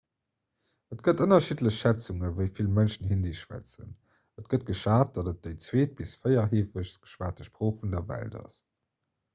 et gëtt ënnerschiddlech schätzungen wéi vill mënschen hindi schwätzen et gëtt geschat datt et déi zweet bis véiertheefegst geschwat sprooch vun der welt ass